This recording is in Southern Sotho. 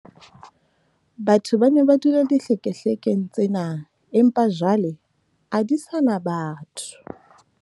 batho ba ne ba dula dihlekehlekeng tsena, empa jwale a di sa na batho